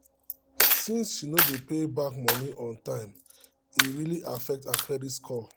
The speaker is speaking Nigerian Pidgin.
since she no dey pay back money on time e really affect her credit score